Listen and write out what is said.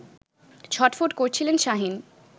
ছটফট করছিলেন শাহীন